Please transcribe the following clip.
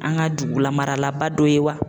An ka dugulamaralaba dɔ ye wa